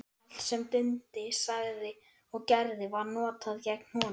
Allt sem Dundi sagði og gerði var notað gegn honum.